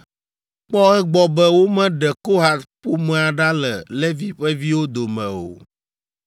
“Kpɔ egbɔ be womeɖe Kohat ƒomea ɖa le Levi ƒe viwo dome o.